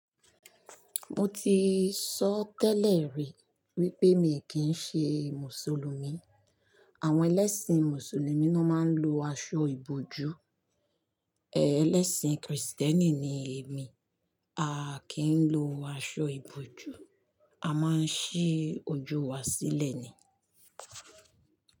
Mo ti sọ tẹ́lẹ̀ rí wípé mi kì ń ṣe Mùsùlùmí. Àwọn ẹlẹ́sìn Mùsùlùmí ni wọ́n máa ń lo aṣọ ìbòjú. Ẹlẹ́sìn kìrìsìtẹ́nì ni èmi, a kì ń lo aṣọ ìbòjú. A máa ń ṣí ojú wa sílẹ̀ ni.